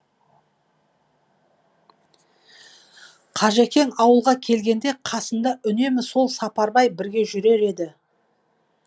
қажекең ауылға келгенде қасында үнемі сол сапарбай бірге жүрер еді